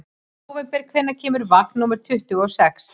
Nóvember, hvenær kemur vagn númer tuttugu og sex?